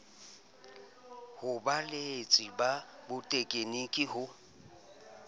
ho baeletsi ba botegniki ho